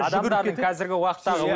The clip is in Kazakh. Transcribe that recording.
адамдардың қазіргі уақыттағы